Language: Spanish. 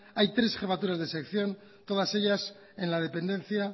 hay tres jefaturas de sección todas ellas en la dependencia